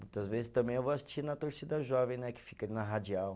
Muitas vezes também eu vou assistir na torcida jovem né, que fica ali na radial.